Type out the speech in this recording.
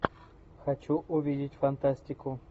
хочу увидеть фантастику